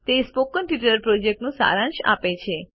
તે spoken tutorial project માટે સારાંશ આપે છે